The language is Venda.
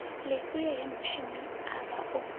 lifhio he mushumi avha o